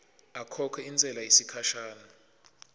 akhokhe intsela yesikhashana